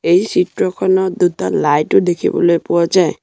এই চিত্ৰখনত দুটা লাইট ও দেখিবলৈ পোৱা যায়।